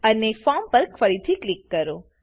અને ફોર્મ પર ફરીથી ક્લિક કરો